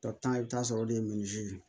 i bɛ taa sɔrɔ olu de ye ye